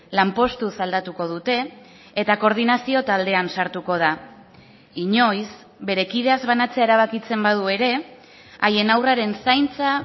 lanpostuz aldatuko dute eta koordinazio taldean sartuko da inoiz bere kideaz banatzea erabakitzen badu ere haien haurraren zaintza